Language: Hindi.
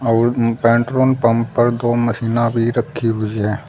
और पेट्रोन पंप पर दो मशीना भी रखी हुई हैं।